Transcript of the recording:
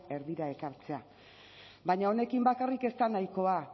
erdira ekartzea baina honekin bakarrik ez da nahikoa